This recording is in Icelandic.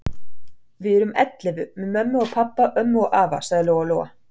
Við erum ellefu með mömmu og pabba og ömmu og afa, sagði Lóa-Lóa.